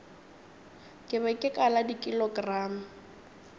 ke be ke kala dikilogramo